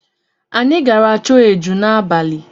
Anyị gara chọọ eju n'abalị.